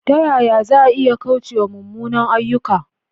Ta yaya za a iya kauce wa munanan ayyuka?